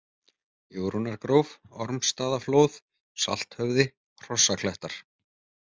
Jórunnargróf, Ormsstaðaflóð, Salthöfði, Hrossaklettar